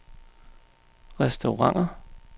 restauranter